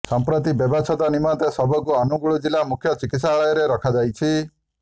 ସମ୍ପ୍ରତି ବ୍ୟବଚ୍ଛେଦ ନିମନ୍ତେ ଶବକୁ ଅନୁଗୁଳ ଜିଲ୍ଲା ମୁଖ୍ୟ ଚିକିତ୍ସାଳୟରେ ରଖାଯାଇଛି